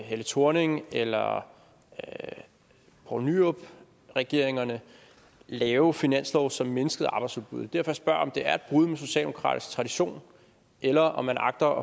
helle thorning eller poul nyrup regeringerne lave finanslove som mindskede arbejdsudbuddet det er derfor jeg spørger om det er et brud med socialdemokratisk tradition eller om man agter